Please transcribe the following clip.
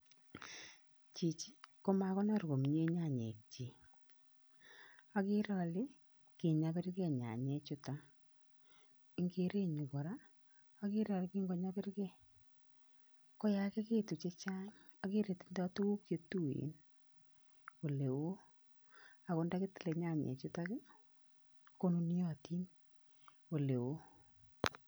Chichi ko makonor komie nyanyekchi. Akere ale kinyopirkei nyanyechuto. Eng kerenyu kora, akere ale kinkonyopirkei, koyakikitu chechang akere tindoi tuguk chetuen oleo, ako ndakitile nyanyechutok, konuniotin oleoo.